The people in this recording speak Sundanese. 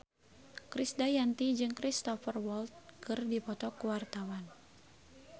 Krisdayanti jeung Cristhoper Waltz keur dipoto ku wartawan